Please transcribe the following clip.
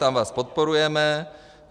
Tam vás podporujeme.